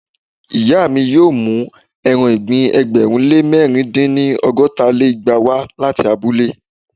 màmá mi yóò mú eran ìgbín ẹgbẹ̀rún lé mẹ̀rin dín ní- ọgọ́ta lé igba wá láti abúlé.